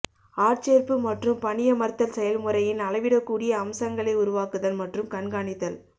ஆட்சேர்ப்பு மற்றும் பணியமர்த்தல் செயல்முறையின் அளவிடக்கூடிய அம்சங்களை உருவாக்குதல் மற்றும் கண்காணித்தல்